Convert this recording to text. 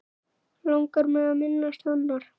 Langar mig að minnast hennar.